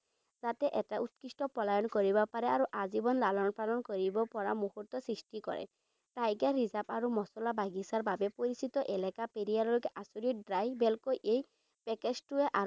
তাতে এটা উৎকৃষ্ট পলায়ন কৰিব পাৰে আৰু আজীৱন লালন পালন কৰিব পৰা মূহুৰ্ত সৃষ্টি কৰিব পাৰে। Tiger reserve আৰু মছলা বাগিছাৰ বাবে পৰিচিত এলেকা, পেৰিয়াৰৰ আচৰিত drive এই package টোৱে